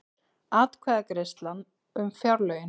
Atkvæðagreiðsla um fjárlögin